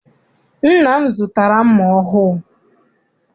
Nna m zụtara mma ọhụụ.